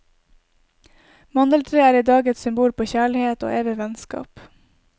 Mandeltreet er i dag et symbol på kjærlighet og evig vennskap.